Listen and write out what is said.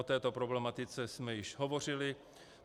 O této problematice jsme již hovořili.